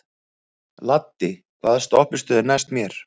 Laddi, hvaða stoppistöð er næst mér?